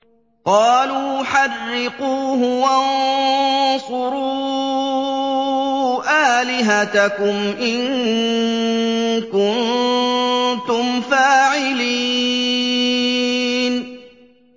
قَالُوا حَرِّقُوهُ وَانصُرُوا آلِهَتَكُمْ إِن كُنتُمْ فَاعِلِينَ